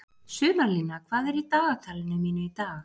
Sumarlína, hvað er í dagatalinu mínu í dag?